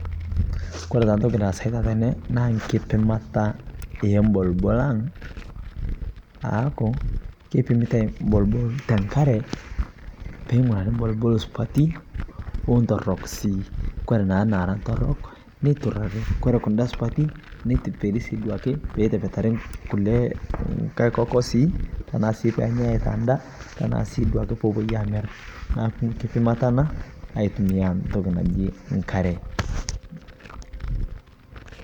Kore taa ntoki naasai tene naa nkipimataa e mbolbol, ang aaku keipimitai mbolumbol te nkaare, pee ng'urari mbolbol supati o ntoorok sii. Kore naa naara ntoorok neiturari, kore naara supati neitibirii sii duake pee itapeetari nkulee nkaai kookosi. Tana sii pee enya aitaa ndaa tana sii duake pee epoi aamir. Naaku nkipimata ena atumia ntokii najii nkaare.